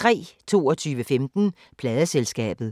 22:15: Pladeselskabet